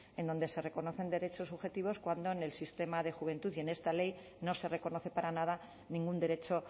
en donde se reconocen derechos subjetivos cuando en el sistema de juventud y en esta ley no se reconoce para nada ningún derecho